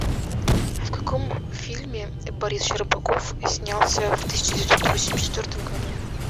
в каком фильме борис щербаков снялся в тысяча девятьсот восемьдесят четвертом году